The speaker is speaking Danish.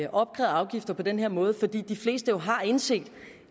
afgifter på den her måde fordi de fleste jo har indset